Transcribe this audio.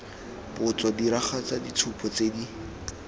botso diragatsa ditshupo tse di